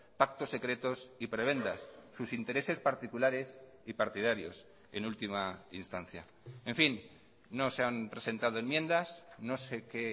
pactos secretos y prebendas sus intereses particulares y partidarios en última instancia en fin no se han presentado enmiendas no sé qué